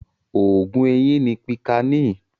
Oògun eyín ni Pìkáànì.